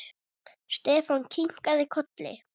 Stefán kinkaði kolli.